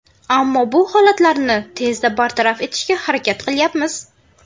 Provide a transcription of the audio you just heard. Ammo bu holatlarni tezda bartaraf etishga harakat qilyapmiz.